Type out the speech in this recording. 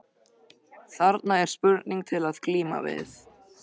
Þarna er spurning til að glíma við.